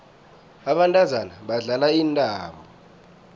abantazana badlala intambo